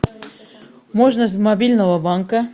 можно с мобильного банка